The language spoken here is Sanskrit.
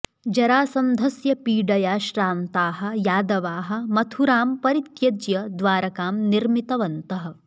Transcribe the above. जरासन्धस्य पीडया श्रान्ताः यादवाः मथुरां परित्यज्य द्वारकां निर्मितवन्तः